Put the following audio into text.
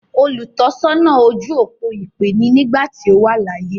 “Olùtọ́sọ́nà ojú-òpó ìpè” ni nígbàtí ó wà láyé.